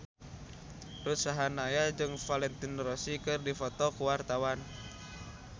Ruth Sahanaya jeung Valentino Rossi keur dipoto ku wartawan